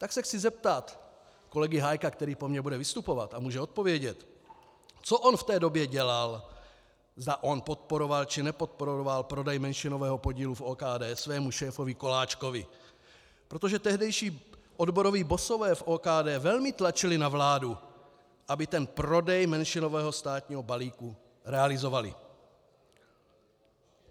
Tak se chci zeptat kolegy Hájka, který po mně bude vystupovat a může odpovědět, co on v té době dělal, zda on podporoval, či nepodporoval prodej menšinového podílu v OKD svému šéfovi Koláčkovi, protože tehdejší odboroví bossové v OKD velmi tlačili na vládu, aby ten prodej menšinového státního balíku realizovali.